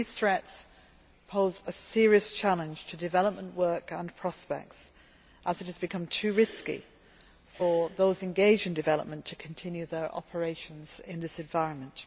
These threats pose a serious challenge to development work and prospects, as it has become too risky for those engaged in development to continue their operations in this environment.